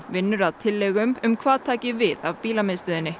vinnur að tillögum um hvað taki við af